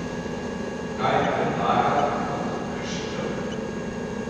Kaj predlaga kot rešitev?